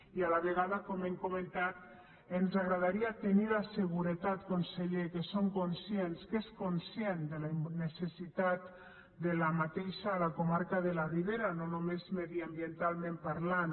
i a la vegada com hem comentat ens agradaria tenir la seguretat conseller que són conscients que és conscient de la necessitat d’aquesta a la comarca de la ribera no només mediambientalment parlant